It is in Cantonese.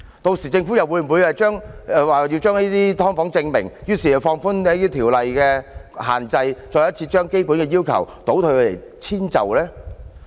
屆時政府又會否為了將"劏房"正名，於是放寬條例限制，再次將基本要求倒退，予以遷就呢？